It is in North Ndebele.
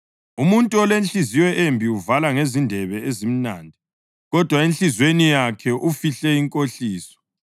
Umuntu olenhliziyo embi uvala ngezindebe ezimnandi, kodwa enhliziyweni yakhe ufihle inkohliso.